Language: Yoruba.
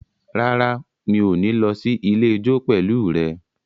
Rárá, mi ò ní lọ sí ilé ijó pẹ̀lú rẹ